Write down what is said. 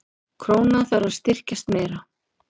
Krónan þarf að styrkjast meira